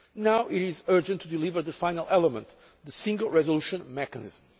Now there is an urgent need to deliver the final element the Single Resolution Mechanism.